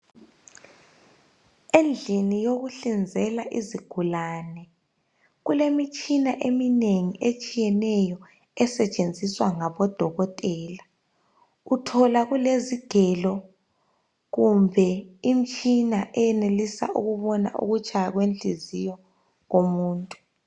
Endlini yokuhlinzela izigulane kulemitshina eminengi etshiyeneyo esetshenziswa ngabodokotela. Uthola kulezigelo kumbe imitshina eyenelisa ukubona ukutshaya kwennhliziyo komuntu.